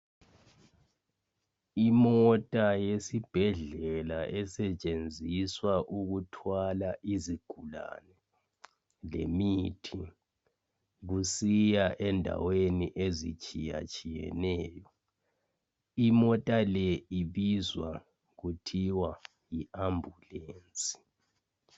Imota yesibhedlela esetshenziswa ukuthwala izigulane lemithi kusiya endaweni ezitshiya tshiyeneyo imota le ibizwa kuthiwa yi ambulance.